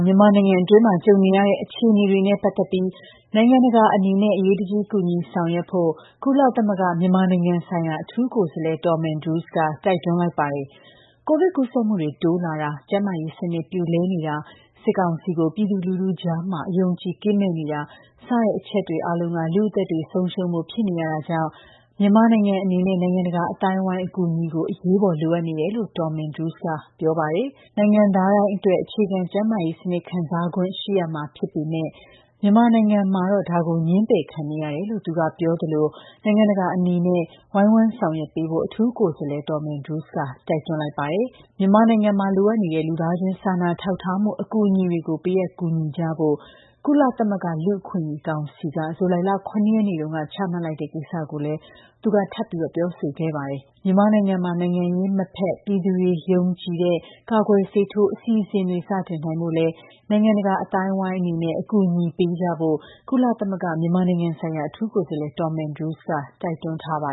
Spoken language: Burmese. မြန်မာနိုင်ငံတွင်း ကြုံနေရတဲ့ အခြေအနေတွေနဲ့ ပတ်သက်လို့နိုင်ငံတကာအနေနဲ့ အရေးတကြီး ကူညီဆောင်ရွက်ဖို့ ကုလသမဂ္ဂ မြန်မာနိုင်ငံဆိုင်ရာအထူးကိုယ်စားလှယ် Tom Andrews က တိုက်တွန်းလိုက်ပါတယ်။ ကိုဗစ်ကူးစက်မှုတွေ တိုးလာတာ၊ ကျန်းမာရေး စနစ် ပြိုလဲနေတာ၊ စစ်ကောင်စီကို ပြည်သူလူထု ကြား အယုံအကြည်ကင်းမဲ့နေတာ စတဲ့ အချက်တွေအားလုံးက လူ့အသက်တွေဆုံးရှုံးဖို့ ဖြစ်နေရတာကြောင့် မြန်မာနိုင်ငံအနေနဲ့ နိုင်ငံတကာ အသိုင်းအဝိုင်း အကူအညီကို အရေးပေါ် လိုအပ်နေတယ်လို့ Tom Andrews က ပြောပါတယ်။ နိုင်ငံသားတိုင်းအတွက် အခြေခံ ကျန်းမာရေး စနစ် ခံစားခွင့်ရှိရမှာဖြစ်ပေမဲ့ မြန်မာနိုင်ငံမှာတော့ ဒါကို ငြင်းပယ်ခံနေရတယ်လို့ သူက ပြောသလို နိုင်ငံတကာ အနေနဲ့ ဒါကို ဝိုင်းဝန်းဆောင်ရွက်ပေးဖို့ အထူးကိုယ်စားလှယ် Tom Andrews က တိုက်တွန်းတာပါ။ မြန်မာနိုင်ငံ အရေး အရေးပေါ် ပူးပေါင်းဆောင်ရွက်သွားကြဖို့ နဲ့ မြန်မာနိုင်ငံမှာ လိုအပ်နေတဲ့ လူသားချင်းစာနာထောက်ထားမှု အကူအညီတွေကို ပေးအပ်ကူညီကြဖို့ ကုလသမဂ္ဂ လူအခွင့်အရေး ကောင်စီက ဇူလိုင်လ ၇ ရက်နေ့တူန်းက ချမှတ်လိုက်တဲ့ ကိစ္စကိုလည်း သူက ထပ်ပြီး ပြောဆိုခဲ့ပါတယ်။ မြန်မာနိုင်ငံမှာ နိုင်ငံရေး မဖက်၊ ပြည်သူတွေ ယုံကြည်တဲ့ ကာကွယ်ဆေးထိုး အစီအစဉ်တွေကို စတင်နိုင်ဖို့လည်း နိုင်ငံတကာ အသိုင်းအဝိုင်းအနေနဲ့ အကူအညီပေးကြဖို့ ကုလသမဂ္ဂ မြန်မာနိုင်ငံဆိုင်ရာအထူးကိုယ်စားလှယ် Tom Andrews က တိုက်တွန်းထားပါ